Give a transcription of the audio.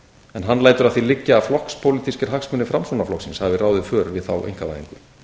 en hann lætur að því liggja að flokkspólitískir hagsmunir framsóknarflokksins hafi ráðið för við þá einkavæðingu